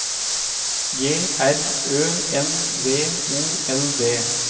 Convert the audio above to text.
G R Ø N V O L D